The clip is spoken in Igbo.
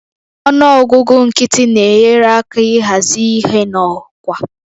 Ọnụ ọgụgụ nkịtị na-enyere aka ịhazi ihe n'ọkwa